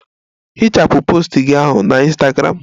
Hichapụ post gị ahụ na Ịnstagramụ!